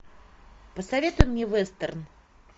посоветуй мне вестерн